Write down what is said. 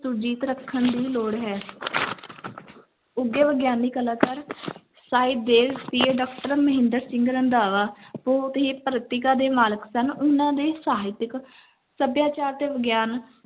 ਸੁਰਜੀਤ ਰੱਖਣ ਦੀ ਲੋੜ ਹੈ ਉੱਘੇ ਵਿਗਿਆਨੀ ਕਲਾਕਾਰ ਸਾਹਿਬ ਦੇਵ PA doctor ਮਹਿੰਦਰ ਸਿੰਘ ਰੰਧਾਵਾ ਬਹੁਤ ਹੀ ਪ੍ਰਤਿਕਾ ਦੇ ਮਾਲਕ ਸਨ, ਉਹਨਾਂ ਦੇ ਸਾਹਿਤਿਕ ਸਭਿਆਚਾਰ ਤੇ ਵਿਗਿਆਨ